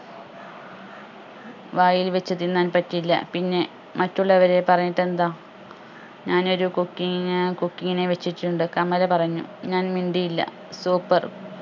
വായിൽ വെച്ച് തിന്നാൻ പറ്റില്ല പിന്നെ മറ്റുള്ളവരെ പറഞ്ഞിട്ടെന്താ ഞാനൊരു cooking നെ cooking നെ വെച്ചിട്ടുണ്ട് കമല പറഞ്ഞു ഞാൻ മിണ്ടിയില്ല super